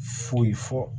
Foyi fɔ